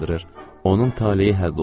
Onun taleyi həll olunur.